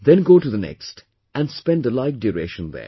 Then go to the next and spend a like duration there